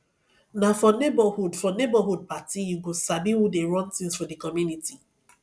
na for neighborhood for neighborhood party you go sabi who dey run things for the community